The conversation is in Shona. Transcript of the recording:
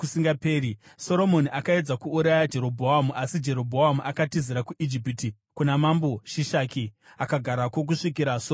Soromoni akaedza kuuraya Jerobhoamu, asi Jerobhoamu akatizira kuIjipiti, kuna mambo Shishaki, akagarako kusvikira Soromoni afa.